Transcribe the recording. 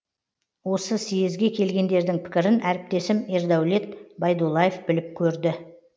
осы съезге келгендердің пікірін әріптесім ердаулет байдуллаев біліп көрді